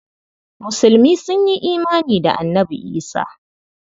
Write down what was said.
Musulmi sun yi imani da Annabi Isah.